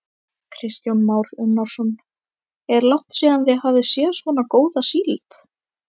Kristján Már Unnarsson: Er langt síðan þið hafið séð svona góða síld?